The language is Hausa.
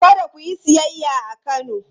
Kada ku yi siyayya a Kano!